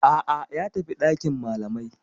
A'a, ya tafi dakin malamai.